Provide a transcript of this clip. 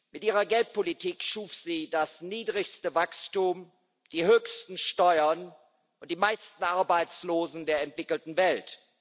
Mit ihrer Geldpolitik schuf sie das niedrigste Wachstum, die höchsten Steuern und die meisten Arbeitslosen der entwickelten Welt.